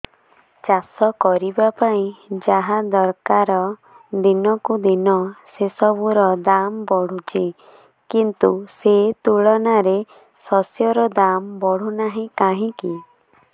ଚାଷ କରିବା ପାଇଁ ଯାହା ଦରକାର ଦିନକୁ ଦିନ ସେସବୁ ର ଦାମ୍ ବଢୁଛି କିନ୍ତୁ ସେ ତୁଳନାରେ ଶସ୍ୟର ଦାମ୍ ବଢୁନାହିଁ କାହିଁକି